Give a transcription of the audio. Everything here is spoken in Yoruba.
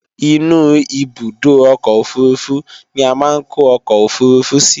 Inú ibùdó ọkọ̀ òfurufú ni a máa ń kó ọkọ̀ òfurufú sí